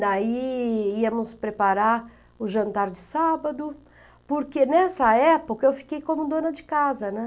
Daí íamos preparar o jantar de sábado, porque nessa época eu fiquei como dona de casa, né?